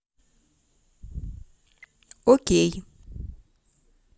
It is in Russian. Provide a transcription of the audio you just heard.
окей